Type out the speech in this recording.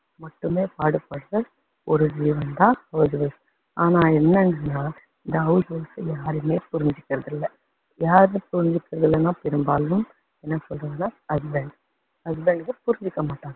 மட்டுமே பாடுப்பட்ட ஒரு ஜீவன் தான் house wife ஆனா என்னன்னா, இந்த house wife அ யாருமே புரிஞ்சுகிறது இல்ல யாருமே புரிஞ்சுகிறது இல்லன்னா பெரும்பாலும் என்ன சொல்றதுன்னா husband husband ங்க புரிஞ்சுக்க மாட்டாங்க.